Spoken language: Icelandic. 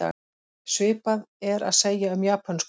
Svipað er að segja um japönsku.